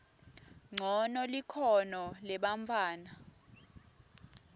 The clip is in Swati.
ncono likhono lebantfwana